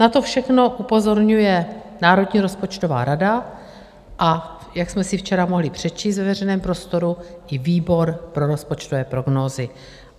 Na to všechno upozorňuje Národní rozpočtová rada, a jak jsme si včera mohli přečíst ve veřejném prostoru, i výbor pro rozpočtové prognózy.